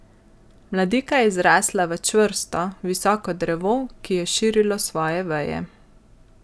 Mladika je zrasla v čvrsto, visoko drevo, ki je širilo svoje veje.